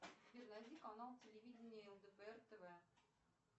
сбер найди канал телевидения лдпр тв